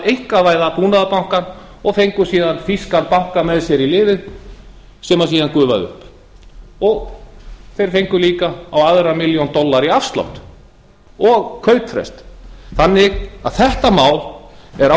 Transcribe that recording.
einkavæða búnaðarbankann og fengu síðan þýskan banka með sér í liðið sem síðan gufaði upp þeir fengu líka á annan milljarð dollara í afslátt og kaupverð þannig að þetta mál er